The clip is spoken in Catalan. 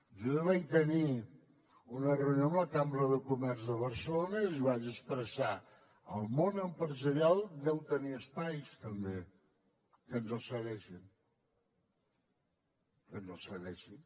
jo ja vaig tenir una reunió amb la cambra de comerç de barcelona i els vaig expressar el món empresarial deu tenir espais també que ens els cedeixin que ens els cedeixin